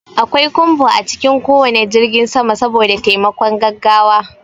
Akwai kumbo a cikin ko wane jirgin sama saboda taimakon gaggawa.